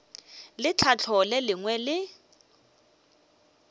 le tlhahlo le lengwe le